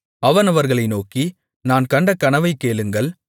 அவன் அவர்களை நோக்கி நான் கண்ட கனவைக் கேளுங்கள்